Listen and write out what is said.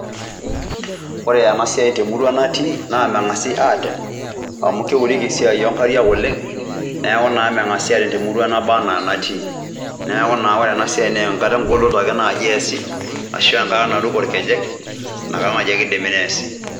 Ore ena siai te murua natii naa meng'asi atem amu keureki esiai o nkariak oleng' neeku naa meng'asi atem te murua nabaa na natii. Neeku naa ore ena siai naa enkata eng'oloto ake nai easi ashu enkata naruko irkejek, inakata naake idimi neesi.